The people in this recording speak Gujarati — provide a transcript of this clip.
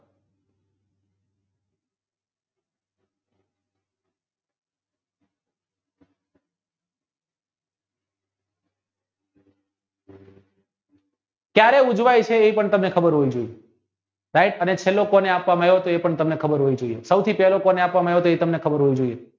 કયારે ઉજવાયય છે એપના તમને ખબર હોવી જોઇએ ભાઈ અને સેલકોને આપવામાં તો એ પણ તમને ખબર હોવી જોઇએ સૌથી પહેલું કોને આપવામાં આવ્યું હોય એ પણ તમને ખબર હોવી જોઇએ